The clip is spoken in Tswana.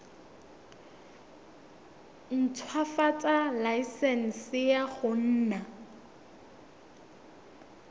ntshwafatsa laesense ya go nna